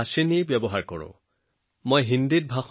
ভাষিণীৰ সান্নিধ্যত প্ৰথমবাৰৰ বাবে এই সঁজুলি ব্যৱহাৰ কৰা হয়